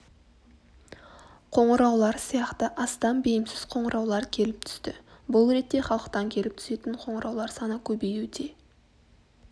қоңыраулар сияқты астам бейімсіз қоңыраулар келіп түсті бұл ретте халықтан келіп түсетін қоңыраулар саны көбеюде